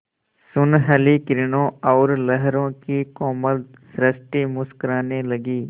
सुनहली किरणों और लहरों की कोमल सृष्टि मुस्कराने लगी